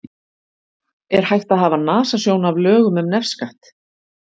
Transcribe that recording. Er hægt að hafa nasasjón af lögum um nefskatt?